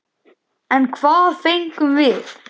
En hvað fengum við?